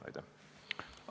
Aitäh!